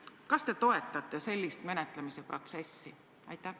Kas te toetate sellist menetlemise protsessi?